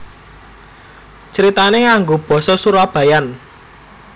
Critané nganggo basa surabayaan